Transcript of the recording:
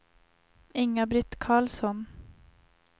Inga-Britt Karlsson